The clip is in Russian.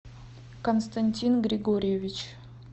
константин григорьевич